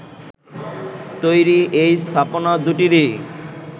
তৈরি এই স্থাপনা দুটিরই